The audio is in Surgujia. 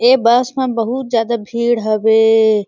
ये बस में बहुत जादा भीड़ हवे।